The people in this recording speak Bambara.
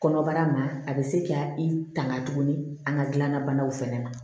Kɔnɔbara ma a bɛ se ka i tanga tuguni an ka gilan na banaw fɛnɛ ma